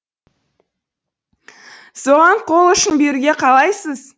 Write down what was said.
соған қол ұшын беруге қалайсыз